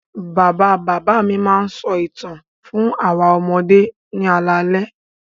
Bàbá-bàbá mi máa ń sọ ìtàn fún àwọn ọmọdé ní alaalẹ́.